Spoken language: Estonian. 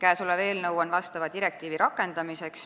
Eelnõu on mõeldud vastava direktiivi rakendamiseks.